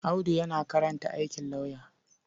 Audu yana karanta aikin lauyer.